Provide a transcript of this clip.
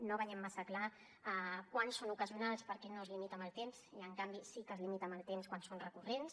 no veiem massa clar quan són ocasionals perquè no es limita en el temps i en canvi sí que es limita en el temps quan són recurrents